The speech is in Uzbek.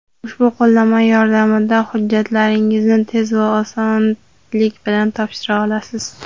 ushbu qo‘llanma yordamida hujjatlaringizni tez va osonlik bilan topshira olasiz.